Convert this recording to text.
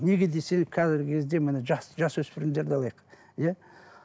неге десеңіз қазіргі кезде міне жас жасөспірімдерді алайық иә